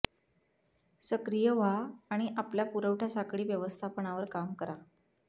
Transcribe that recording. सक्रिय व्हा आणि आपल्या पुरवठा साखळी व्यवस्थापनावर काम करा